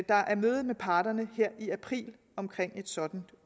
der er møde med parterne her i april om et sådant